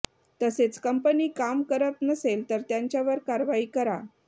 तसेच कंपनी काम करत नसेल तर त्यांच्यावर कारवाई करा